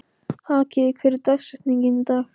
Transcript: Haki, hver er dagsetningin í dag?